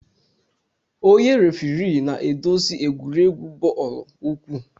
Onye refirii na-eduzi egwuregwu bọọlụ ukwu.